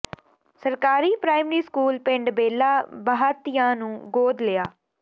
ਸਰਕਾਰੀ primary school ਪਿੰਡ ਬੇਲਾ ਬਾਹਤੀਆਂ ਨੂੰ ਗੋਦ ਲਿਆ